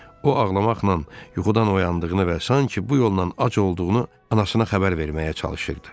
O, ağlamaqla yuxudan oyandığını və sanki bu yolla ac olduğunu anasına xəbər verməyə çalışırdı.